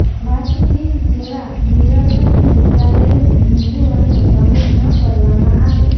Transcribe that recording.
વાતચીત જેવા નિરર્થક મુદ્દા લઈને હિંદૂઓને ભ્રમિત ન કરવામાં આવે